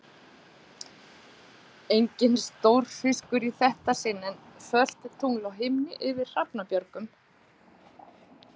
Enginn stórfiskur í þetta sinn, en fölt tungl á himni yfir Hrafnabjörgum.